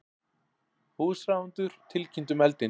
Húsráðendur tilkynntu um eldinn